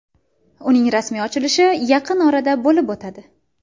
Uning rasmiy ochilishi yaqin orada bo‘lib o‘tadi.